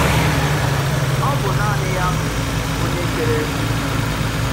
Ọ bụ naanị ya bụ Onye kere ugwu.